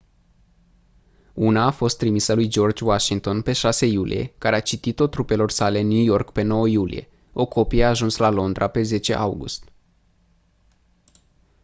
una a fost trimisă lui george washington pe 6 iulie care a citit-o trupelor sale în new york pe 9 iulie o copie a ajuns la londra pe 10 august